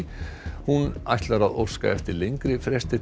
hún ætlar að óska eftir lengri fresti til